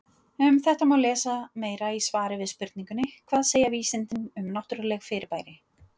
Um þetta má lesa meira í svari við spurningunni Hvað segja vísindin um yfirnáttúrleg fyrirbæri?